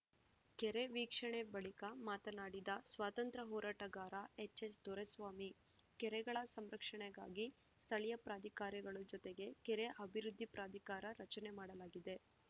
ಕೆರೆ ವೀಕ್ಷಣೆ ಬಳಿಕ ಮಾತನಾಡಿದ ಸ್ವಾತಂತ್ರ್ಯ ಹೋರಾಟಗಾರ ಎಚ್‌ಎಸ್‌ದೊರೆಸ್ವಾಮಿ ಕೆರೆಗಳ ಸಂರಕ್ಷಣೆಗಾಗಿ ಸ್ಥಳೀಯ ಪ್ರಾಧಿಕಾರಗಳು ಜತೆಗೆ ಕೆರೆ ಅಭಿವೃದ್ಧಿ ಪ್ರಾಧಿಕಾರ ರಚನೆ ಮಾಡಲಾಗಿದೆ